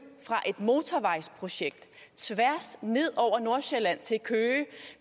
fra et motorvejsprojekt tværs ned over nordsjælland til køge og